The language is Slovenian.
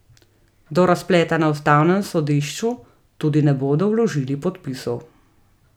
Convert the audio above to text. Do razpleta na ustavnem sodišču tudi ne bodo vložili podpisov.